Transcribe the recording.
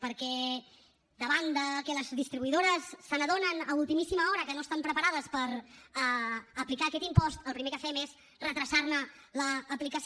perquè davant de que les distribuïdores s’adonen a ultimíssima hora que no estan preparades per aplicar aquest impost el primer que fem és retardar ne l’aplicació